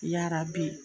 Yarabi